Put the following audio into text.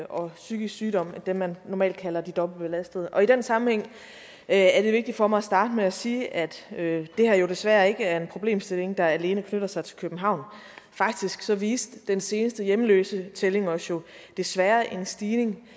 og psykisk sygdom dem man normalt kalder de dobbeltbelastede i den sammenhæng er er det vigtigt for mig starte med at sige at det her jo desværre ikke er en problemstilling der alene knytter sig til københavn faktisk viste den seneste hjemløsetælling os jo desværre en stigning